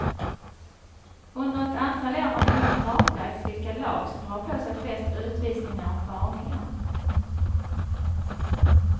Under ett antal år har noga kartlagts vilka lag som drar på sig flest utvisningar och varningar.